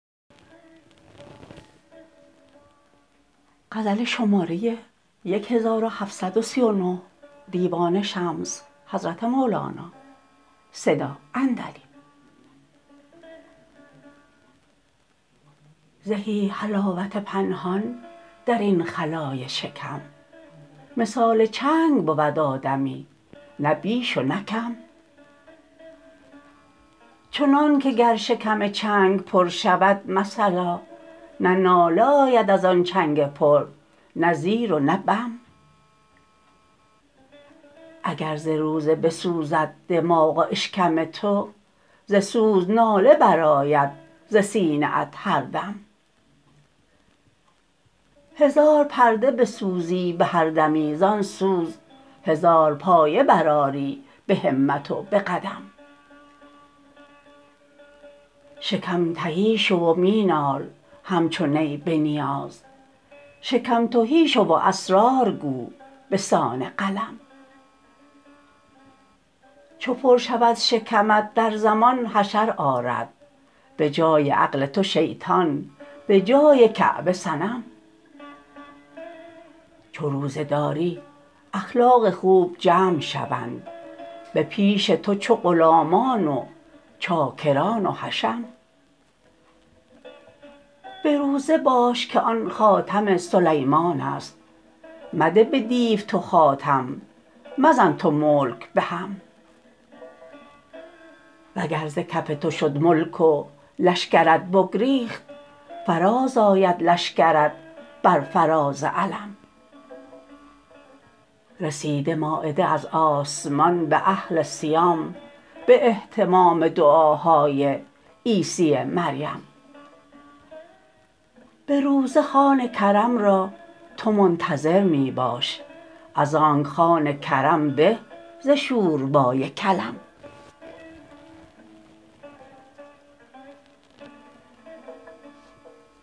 زهی حلاوت پنهان در این خلای شکم مثال چنگ بود آدمی نه بیش و نه کم چنانک گر شکم چنگ پر شود مثلا نه ناله آید از آن چنگ پر نه زیر و نه بم اگر ز روزه بسوزد دماغ و اشکم تو ز سوز ناله برآید ز سینه ات هر دم هزار پرده بسوزی به هر دمی زان سوز هزار پایه برآری به همت و به قدم شکم تهی شو و می نال همچو نی به نیاز شکم تهی شو و اسرار گو به سان قلم چو پر شود شکمت در زمان حشر آرد به جای عقل تو شیطان به جای کعبه صنم چو روزه داری اخلاق خوب جمع شوند به پیش تو چو غلامان و چاکران و حشم به روزه باش که آن خاتم سلیمان است مده به دیو تو خاتم مزن تو ملک به هم وگر ز کف تو شد ملک و لشکرت بگریخت فرازآید لشکرت بر فراز علم رسید مایده از آسمان به اهل صیام به اهتمام دعاهای عیسی مریم به روزه خوان کرم را تو منتظر می باش از آنک خوان کرم به ز شوربای کلم